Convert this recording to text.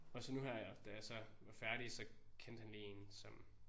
Og så nu her da jeg så var færdig så kendte han lige én som